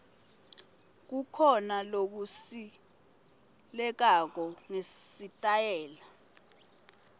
kukhona lokusilelako ngesitayela